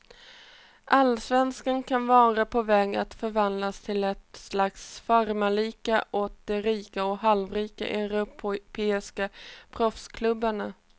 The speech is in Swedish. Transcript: Allsvenskan kan vara på väg att förvandlas till ett slags farmarliga åt de rika och halvrika europeiska proffsklubbarna.